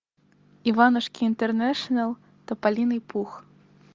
иванушки интернешнл тополиный пух